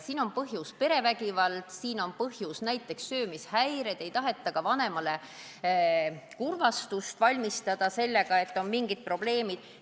Siin on põhjuseks näiteks perevägivald, söömishäired, ei taheta vanematele kurvastust valmistada sellega, et on mingid probleemid.